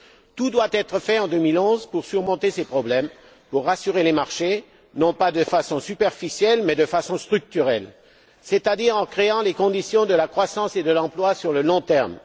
Tout doit être fait en 2011 pour surmonter ces problèmes, pour rassurer les marchés, non pas de façon superficielle mais de façon structurelle, c'est à dire en créant les conditions de la croissance et de l'emploi sur le long terme.